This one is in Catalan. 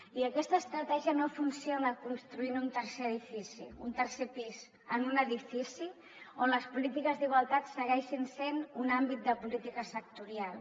i aquesta estratègia no funciona construint un tercer pis en un edifici on les polítiques d’igualtat segueixin sent un àmbit de política sectorial